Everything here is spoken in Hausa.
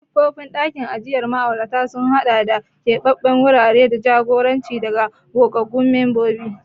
Siffofin ɗakin ajiye ma'aurata sun haɗa da keɓance wurare da jagoranci daga gogaggun mambobi.